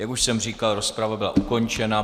Jak už jsem říkal, rozprava byla ukončena.